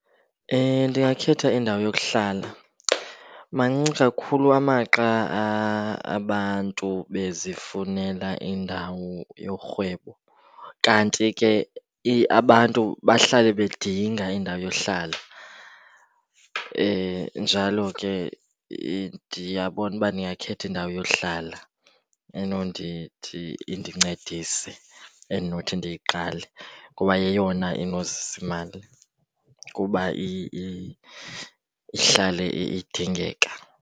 Ndingakhetha indawo yokuhlala. Mancinci kakhulu amaxa abantu bezifunela indawo yerhwebo, kanti ke abantu bahlale bedinga indawo yohlala. Njalo ke ndiyabona uba ndingakhetha indawo yohlala enondithi indincedise endinothi ndiyiqale, kuba yeyona enozisa imali kuba ihlale idingeka.